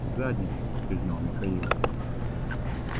в задницу признал михаил